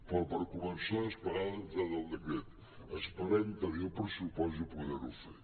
però per començar a desplegar de veritat el decret esperem tenir el pressupost i poder·ho fer